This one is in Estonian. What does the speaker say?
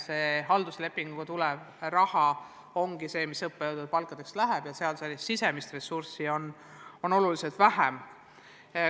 Seal ongi halduslepingu alusel tulev raha see, mis õppejõude palkadeks läheb, sisemist ressurssi on seal oluliselt vähem.